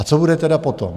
A co bude tedy potom?